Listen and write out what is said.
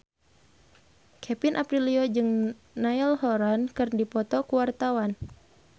Kevin Aprilio jeung Niall Horran keur dipoto ku wartawan